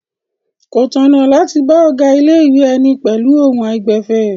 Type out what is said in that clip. Kò tọ̀nà láti bá ọ̀gá ilé-ìwé ẹni pẹ̀lú ohùn àìgbẹ̀fẹ̀.